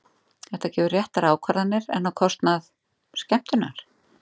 Þetta gefur réttar ákvarðanir, en á kostnað. skemmtunar?